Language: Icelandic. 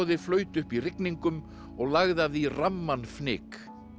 flaut upp í rigningum og lagði af því ramman fnyk